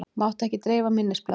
Mátti ekki dreifa minnisblaðinu